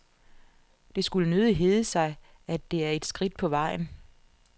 Det skulle nødig hedde sig, at det er et skridt på vejen.